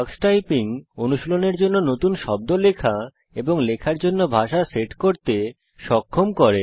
tax typing অনুশীলনের জন্য নতুন শব্দ লেখা এবং লেখার জন্য ভাষা সেট করতে সক্ষম করে